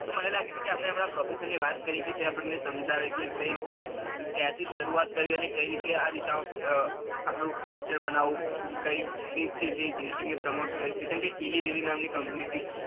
તો, મને લાગે છે કે આપડે આપડા professor ને ને વાત કરવી જોઈએ કે આપડાને સમજાવે કે કઈ રીતે ક્યાંથી સરુવાત કરી અને કઈ રીતે આ દિશા માં અ આપણું future બનાઉં કઈ company જે genetic ને promote કરે છે કમ કેમ ઈલીલીલી નામ ની company હતી.